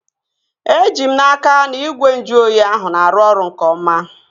Eji m n'aka, na igwe nju oyi ahụ na-arụ ọrụ nke oma